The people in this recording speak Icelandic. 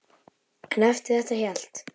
En eftir þetta hélt